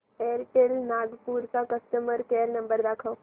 Airtel Nagpur चा customer care number दाखव